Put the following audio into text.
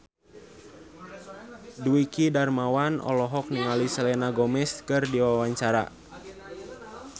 Dwiki Darmawan olohok ningali Selena Gomez keur diwawancara